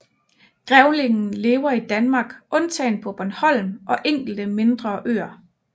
Grævlingen lever i Danmark undtagen på Bornholm og enkelte mindre øer